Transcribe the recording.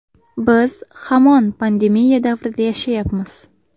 Biz hamon pandemiya davrida yashayapmiz.